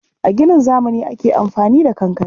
A ginin zamani ake amfani da kankare.